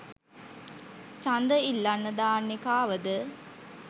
චන්ද ඉල්ලන්න දාන්නෙ කාවද?